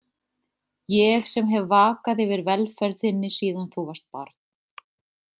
Ég sem hef vakað yfir velferð þinni síðan þú varst barn.